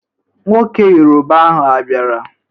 Nwoke yoroba ahụ a biara?